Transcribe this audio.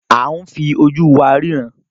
A ǹ fi oju wa riran.